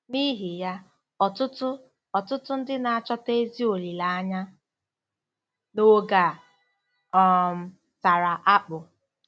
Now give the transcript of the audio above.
N’ihi ya, ọtụtụ, ọtụtụ ndị na-achọta ezi olileanya n’oge a um tara akpụ.